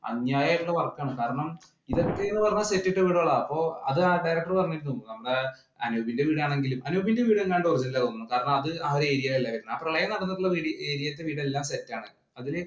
അന്യായിട്ടുള്ള work ആണ്. കാരണം ഇതൊക്കെ എന്ന് പറഞ്ഞാൽ set ഇട്ട വീടുകളാ. അപ്പോ അതാ director പറഞ്ഞിരുന്നു. അന്ന് അനൂപിന്‍റെ വീടാണെങ്കിലും, അനൂപിന്‍റെ വീട് എങ്ങാണ്ട് original ആന്നെന്ന് തോന്നുന്നു. കാരണം, അത് ആ area അല്ലാരുന്നു. ആ പ്രളയം നടന്നിട്ടുള്ള areas ഇലെ വീടെല്ലാം set ണ്.